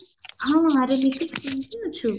ହଁ ଆରେ ଲିପି କେମତି ଅଛୁ